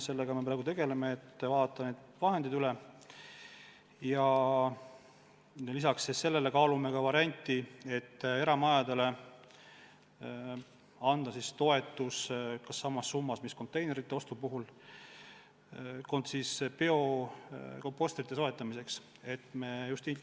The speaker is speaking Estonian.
Sellega me praegu tegeleme: vaatame olemasolevad summad üle ja lisaks kaalume varianti, et eramajadele anda toetus biokompostrite soetamiseks samas summas, mis antakse konteinerite ostul.